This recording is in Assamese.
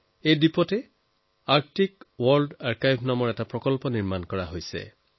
এই দ্বীপত আৰ্কটিক ৱৰ্ল্ড আৰ্কাইভ নামেৰে এটা প্ৰকল্প নিৰ্মাণ কৰা হৈছে